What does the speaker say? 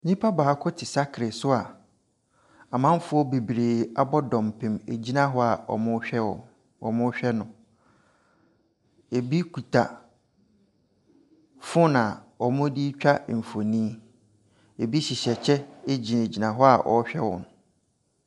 Nipa baako te saakere so a amamfoɔ bebree abɔ dɔmpem gyina hɔ wɔrehwɛ no. Ɛbi kita phone a wɔde retwa mfonin. Ɛbi hyehyɛ kyɛ gyina hɔ wɔrehwɛ no.